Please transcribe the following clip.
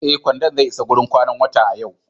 Ee, kwandon zai isa wurin kwanan wata a yau.